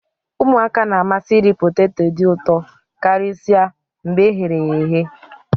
ụmụaka na-amasị iri poteto dị ụtọ karịsịa mgbe e ghere eghe